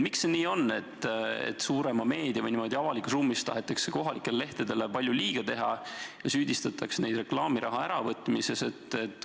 Miks see nii on, et suuremas meedias või avalikus ruumis tahetakse kohalikele lehtedele palju liiga teha ja süüdistatakse neid reklaamiraha äravõtmises?